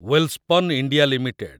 Welspun India limited